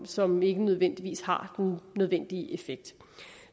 som ikke nødvendigvis har den nødvendige effekt